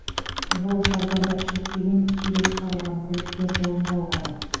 жолаушылар зардап шекпеген сүйреп шығарылған көліктер жолын жалғады